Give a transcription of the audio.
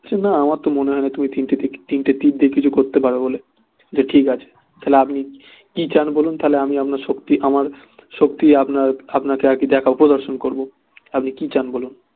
আমার তো মনে হয় না তুমি তিনটে তীর তিনটে তীর দিয়ে কিছু করতে পারবে বলে ঠিক আছে তা হলে আপনি কি চান বলুন তা হলে আমি আপনার শক্তি আমার শক্তি আপনাকে আর কি আপনাকে দেখাবো মানে প্রদর্শন করবো আপনি কি চান বলুন